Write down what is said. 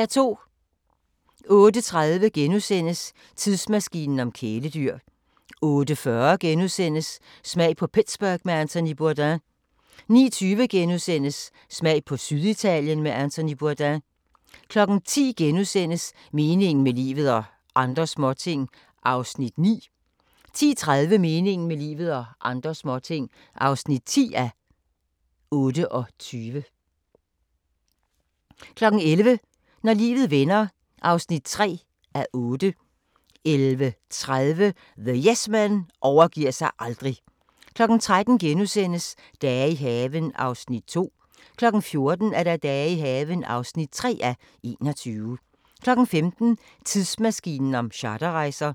08:30: Tidsmaskinen om kæledyr * 08:40: Smag på Pittsburgh med Anthony Bourdain * 09:20: Smag på Syditalien med Anthony Bourdain * 10:00: Meningen med livet – og andre småting (9:28)* 10:30: Meningen med livet – og andre småting (10:28) 11:00: Når livet vender (3:8) 11:30: The Yes Men overgiver sig aldrig 13:00: Dage i haven (2:21)* 14:00: Dage i haven (3:21) 15:00: Tidsmaskinen om charterrejser